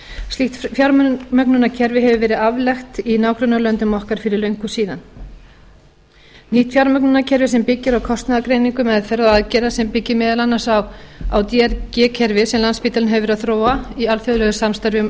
slíkt fjármögnunarkerfi hefur verið aflagt í nágrannalöndum okkar fyrir löngu síðan nýtt fjármögnunarkerfi sem byggir á kostnaðargreiningu er meðal þeirra aðgerða sem byggir meðal annars á að drg kerfi sem landspítalinn hefur verið að þróa í alþjóðlegu samstarfi